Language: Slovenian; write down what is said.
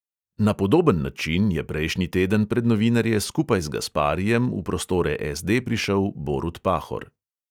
Na podoben način je prejšnji teden pred novinarje skupaj z gasparijem v prostore SD prišel borut pahor.